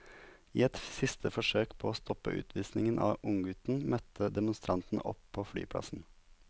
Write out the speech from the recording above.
I et siste forsøk på å stoppe utvisningen av unggutten møtte demonstrantene opp på flyplassen.